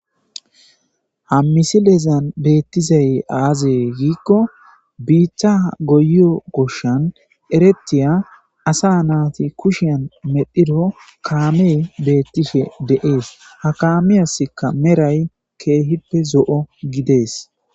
Ha misilezan beettizay aazee giikko biiththa goyo goshan ereptiya asa naati kushian medhiro kaame beettife deees ha kaamiyaska meray keehippe zo'o gidees.